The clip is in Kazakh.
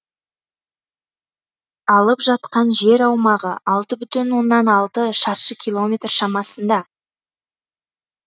алып жатқан жер аумағы алты бүтін оннан алты шаршы километр шамасында